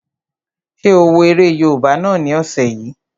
Ṣé o wo eré yóòbá náà ni ọ̀sẹ̀ yìí?